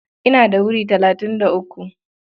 Ina da wuri talatin da uku.